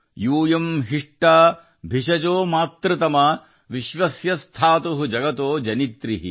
ಯೂಯಂ ಹಿಸಥ ಭಿಷಜೋ ಮಾತೃತಮಾ ವಿಶ್ವಸ್ಯ ಸ್ಥಾತು ಜಗತೋ ಜನಿತ್ರಿ ||